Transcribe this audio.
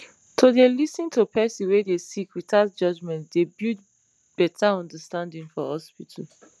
to dey lis ten to person wey dey sick without judgement dey build better understanding for hospital